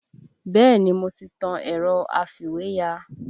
Bẹ́ẹ̀ni mo ti tan ẹ̀rọ afìwéya